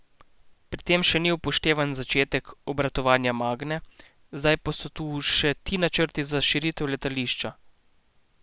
Pri tem še ni upoštevan začetek obratovanja Magne, zdaj pa so tu še ti načrti za širitev letališča.